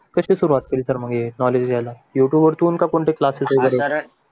कशी सुरुवात केली तर मग हे नॉलेज घ्यायला यूट्यूब वरतून का कोणते क्लासेस वगैरे